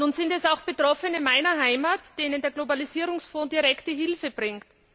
Nun sind es auch Betroffene meiner Heimat, denen der Globalisierungsfonds direkte Hilfe bringt.